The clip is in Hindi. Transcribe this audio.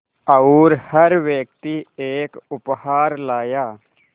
और हर व्यक्ति एक उपहार लाया